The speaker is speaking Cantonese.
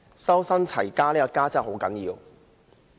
"修身、齊家"的"家"真的很重要。